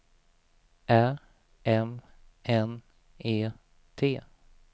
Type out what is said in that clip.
Ä M N E T